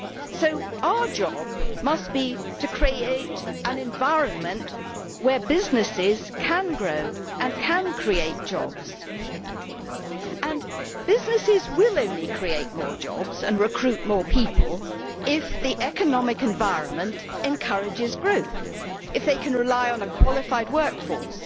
So our job must be to create an environment where businesses can grow and can create jobs, and businesses will only create more jobs and recruit more people if the economic environment encourages growth if they can rely on a qualified workforce,